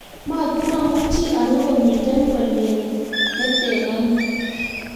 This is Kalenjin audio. mamuchi arue komito bolchet neto ni